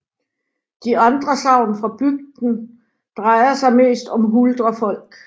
De andre sagn fra bygden drejer sig mest om huldrefolk